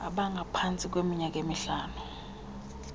abangaphantsi kweminyaka emihlanu